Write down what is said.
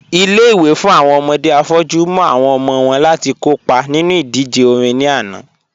Ilé-ìwé fún awọn ọmọdé afọ́jù mú awọn ọmọ wọn láti kọ́pa nínu idíjè orin ní ànà